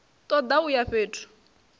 ṱo ḓa u ya fhethu